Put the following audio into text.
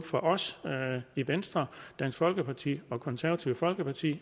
for os i venstre dansk folkeparti og det konservative folkeparti